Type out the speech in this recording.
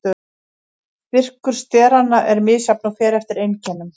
Styrkur steranna er misjafn og fer eftir einkennum.